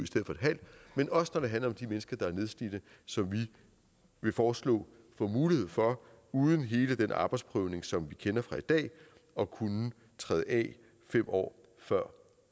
men også når det handler om de mennesker der er nedslidte som vi vil foreslå får mulighed for uden hele den arbejdsprøvning som vi kender fra i dag at kunne træde af fem år før